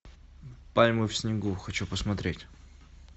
пальмы в снегу хочу посмотреть